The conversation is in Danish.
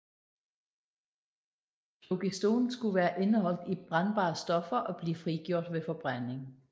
Flogiston skulle være indeholdt i brændbare stoffer og blive frigjort ved forbrænding